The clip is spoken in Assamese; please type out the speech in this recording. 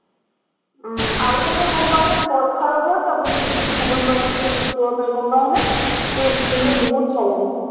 আহ আৰু এটা গম পাৱ নে, কল খাৰৰ পৰা চাবোন, চাবোন উম বনাই কিনে use কৰিব পাৰি গম পাৱ নে, তোৰ skin টো বহুত ভাল হয়।